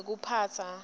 nekuphatsa